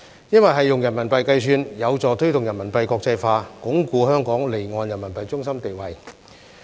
因為是用人民幣計算，有助推動人民幣國際化，鞏固香港離岸人民幣中心的地位。